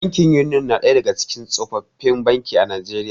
Bankin Union na ɗaya daga cikin tsofaffin banki a Najeriya.